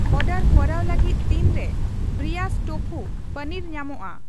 Order ᱠᱚᱨᱟᱣ ᱞᱟᱹᱜᱤᱫ ᱛᱤᱱᱨᱮ ᱵᱨᱤᱭᱟᱥ ᱴᱳᱯᱷᱩ ᱯᱚᱱᱤᱨ ᱧᱟᱢᱚᱜᱼᱟ ?